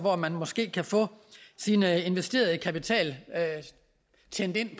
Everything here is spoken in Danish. at man måske kan få sin investerede kapital tjent ind i